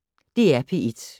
DR P1